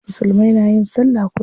Musulmai na yin sallah kullum.